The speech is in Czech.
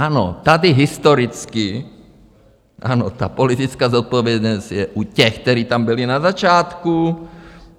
Ano, tady historicky, ano, ta politická zodpovědnost je u těch, kteří tam byli na začátku.